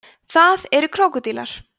það eru krókódílar